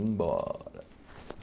Embora.